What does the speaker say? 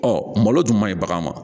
Ɔ malo dun man ɲi bagan ma